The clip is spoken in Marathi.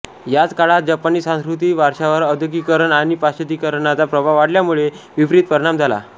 याच काळात जपानी सांस्कृतिक वारशावर औद्योगिकीकरण आणि पाश्चातिकीकरणाचा प्रभाव वाढल्यामुळे विपरित परिणाम झाला